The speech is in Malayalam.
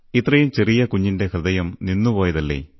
ഇത്രയും ചെറിയ കുഞ്ഞിന്റെ ഹൃദയം നിന്നുപോയതല്ലേ